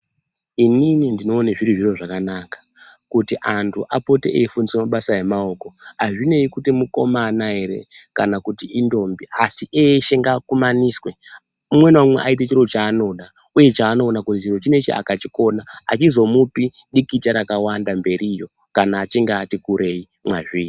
Inini ndino one zviri zviro zvakanaka kuti anti apote eyi fundiswa mabasa e maoko azvinei kuti mukomana ere kana kuti indombi asi eshe ngaa kumaniswe umwe na umwe ayite chiro cha anoda uye cha ano ona kuti chiro chinechi aka chikona achi zomupi dikita rakawanda mberiyo kana achinge ati kurei mwazviri.